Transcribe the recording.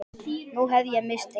Nú hef ég misst einn.